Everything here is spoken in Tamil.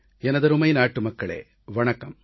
எனதருமை நாட்டுமக்களே வணக்கம்